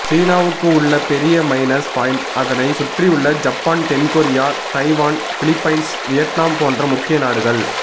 சீனாவுக்கு உள்ள பெரிய மைனஸ் பாயிண்ட் அதனை சுற்றியுள்ள ஜப்பான் தென்கொரியா தைவான் பிலிப்பைன்ஸ் வியட்நாம் போன்ற முக்கிய நாடுகள்